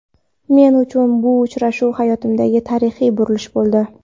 Men uchun bu uchrashuv hayotimdagi tarixiy burilish bo‘ldi.